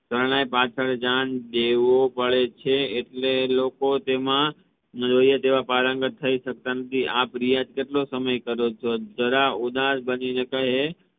શરણાઈ પાછળ જાણ દેવો પડે છે એટલે લોકો તેમા જોઈએ તેવા પારંગત થઇ સકતા નથી આપ રિયાઝ કેટલા કલાક કરો ચો? જરા ઉદાસ બની ને કહે